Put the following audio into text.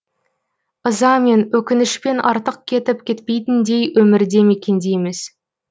ызамен өкінішпен артық кетіп кетпейтіндей өмірде мекендейміз